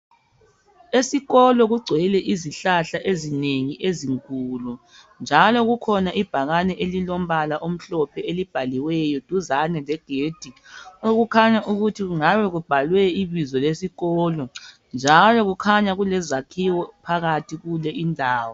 Esikolo kugcwele izihlahla ezinengi ezinkulu njalo kukhona ibhakane elilombala omhlophe elibaliweyo duzane legedi okukhanya ukuthi kungabe kubhalwe ibizo lesikolo njalo kukhanya kulezakhiwo phakathi kule indawo